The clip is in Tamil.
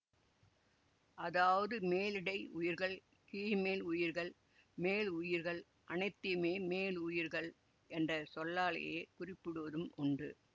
அதாவது மேலிடை உயிர்கள் கீழ்மேல் உயிர்கள் மேலுயிர்கள் அனைத்தையுமே மேலுயிர்கள் என்ற சொல்லாலேயே குறிப்பிடுவதும் உண்டு